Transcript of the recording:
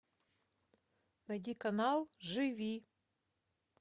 найди канал живи